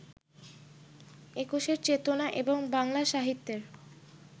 একুশের চেতনা এবং বাংলা সাহিত্যের